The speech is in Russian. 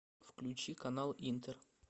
включи канал интер